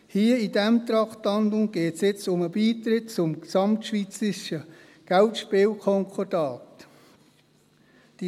Hier, bei diesem Traktandum, geht es jetzt um den Beitritt zum Gesamtschweizerischen Geldspielkonkordat (GSK).